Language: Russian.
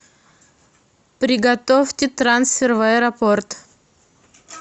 приготовьте трансфер в аэропорт